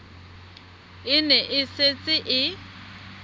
e ne e setse e